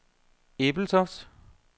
Ebeltoft